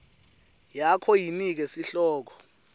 yakho yinike sihloko